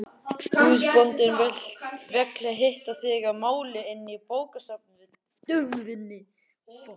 Húsbóndinn vill hitta þig að máli inni í bókastofunni.